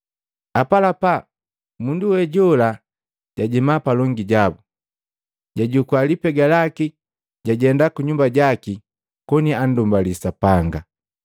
Apalapa, mundu we jola jajema palongi jabu, jajukua lipega laki. Jajenda kunyumba jaki koni akundumbalya Sapanga.